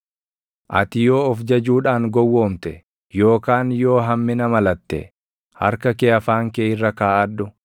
“Ati yoo of jajuudhaan gowwoomte, yookaan yoo hammina malatte, harka kee afaan kee irra kaaʼadhu!